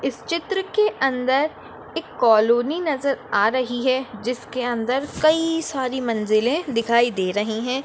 इस चित्र के अंदर एक कॉलनी नज़र आ रही है जिसके अंदर कई सारी मंज़िले दिखाई दे रही है।